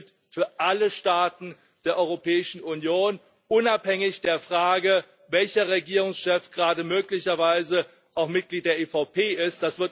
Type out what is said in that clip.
Das gilt für alle Staaten der Europäischen Union, unabhängig von der Frage, welcher Regierungschef gerade möglicherweise auch Mitglied der EVP ist.